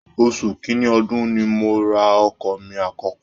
Oṣù kìnní ọdun ni mo ra ọkọ̀ mí àkọ́kọ́